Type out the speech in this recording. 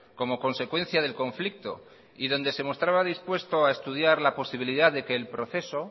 como consecuencia del conflicto y donde se mostraba dispuesto a estudiar la posibilidad de que el proceso